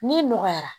N'i nɔgɔyara